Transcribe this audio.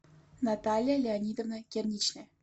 наталья леонидовна керничная